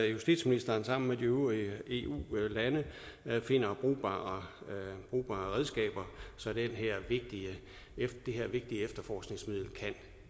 justitsministeren sammen med de øvrige eu lande finder brugbare redskaber så det her vigtige efterforskningsmiddel kan